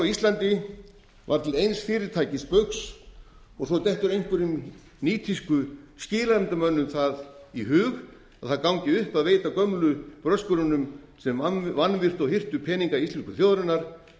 íslandi var til eins fyrirtækis baugs og svo dettur einhverjum nýtískuskilanefndarmönnum það í hug að það gangi upp að veita gömlu bröskurunum sem vanvirtu og hirtu peninga íslensku þjóðarinnar